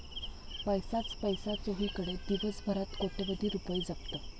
पैसाच पैसा चोहीकडे, दिवसभरात कोट्यवधी रूपये जप्त